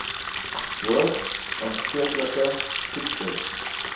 hoogs aansteeklike siektes